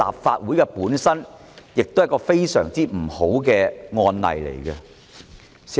這會成為立法會非常不好的案例。